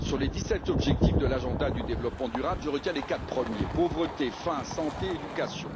Sur les dix sept objectifs de l'agenda du développement durable, je retiens les quatre premiers pauvreté, faim, santé et éducation.